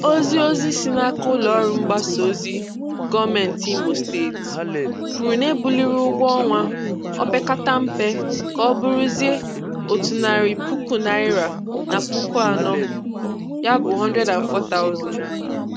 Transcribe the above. Ozi Ozi si n'aka ụlọọrụ mgbasaozi gọọmenti Imo Steeti kwuru na e buliri ụgwọnwa opekatampe ka ọ bụrụzie otu narị puku naịra na puku anọ (N104,000).